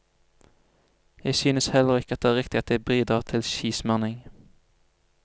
Jeg synes heller ikke det er riktig at jeg bidrar til skismøring.